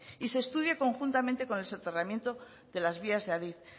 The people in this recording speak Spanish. y se estudie conjuntamente con el soterramiento de las vías de adif